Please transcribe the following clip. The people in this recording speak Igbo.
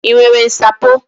I nwere nsapo?